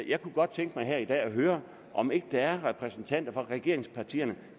jeg kunne godt tænke mig her i dag at høre om ikke der er repræsentanter fra regeringspartierne